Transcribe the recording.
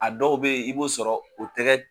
A dɔw bɛ yen i b'o sɔrɔ o tɛgɛ